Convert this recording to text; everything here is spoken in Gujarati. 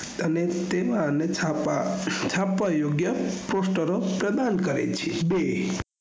અને તેના અને છાપા છાપવા યોગ્ય પોસ્ટરો પ્રદાન કરે છે બે